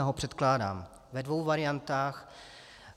Já ho předkládám ve dvou variantách.